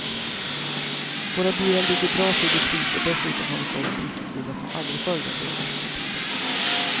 Våra bilar ligger bra till i pris och dessutom har vi sålt dieselbilar som aldrig förr den senaste tiden.